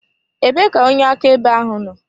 Ebee ka onye akaebe ahụ nọ?